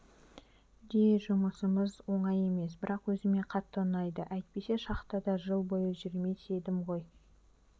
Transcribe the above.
де жұмысымыз оңай емес бірақ өзіме қатты ұнайды әйтпесе шахтада жыл бойы жүрмес едім ғой